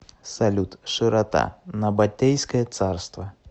салют широта набатейское царство